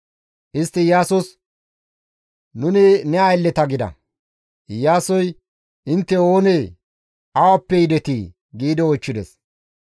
Istti Iyaasos, «Nuni ne aylleta» gida. Iyaasoy, «Intte oonee? Awappe yidetii?» giidi oychchides.